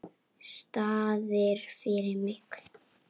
Staðir fyrir mig.